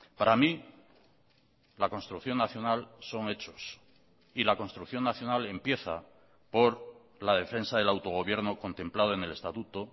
para mí la construcción nacional son hechos y la construcción nacional empieza por la defensa del autogobierno contemplado en el estatuto